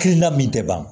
Hakilina min tɛ ban